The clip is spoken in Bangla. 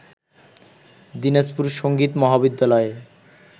দিনাজপুর সংগীত মহাবিদ্যালয়ে